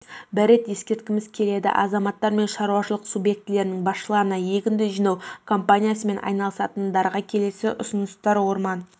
рет ескерткіміз келеді азаматтар мен шаруашылық субъектілерінің басшыларына егінді жинау кампаниясымен айналысатындарға келесі ұсыныстар орман